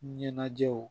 Ɲɛnajɛw